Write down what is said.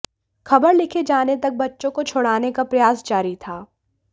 खबर लिखे जाने तक बच्चों को छुड़ाने का प्रयास जारी था